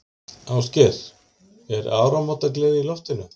Ásgeir, er áramótagleði í loftinu?